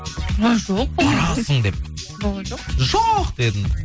ой жоқ барасың деп жоқ дедің